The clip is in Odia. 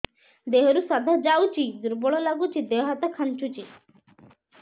ଦେହରୁ ସାଧା ଯାଉଚି ଦୁର୍ବଳ ଲାଗୁଚି ଦେହ ହାତ ଖାନ୍ଚୁଚି